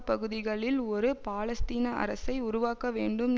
பகுதிகளில் ஒரு பாலஸ்தீன அரசை உருவாக்க வேண்டும்